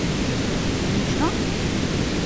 Mučno?